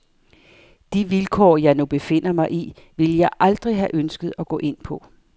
De vilkår, jeg nu befinder mig i, ville jeg aldrig have ønsket at gå ind på.